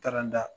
Taara n da